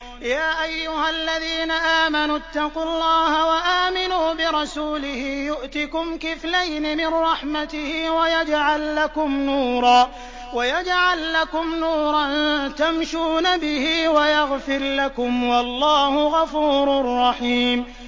يَا أَيُّهَا الَّذِينَ آمَنُوا اتَّقُوا اللَّهَ وَآمِنُوا بِرَسُولِهِ يُؤْتِكُمْ كِفْلَيْنِ مِن رَّحْمَتِهِ وَيَجْعَل لَّكُمْ نُورًا تَمْشُونَ بِهِ وَيَغْفِرْ لَكُمْ ۚ وَاللَّهُ غَفُورٌ رَّحِيمٌ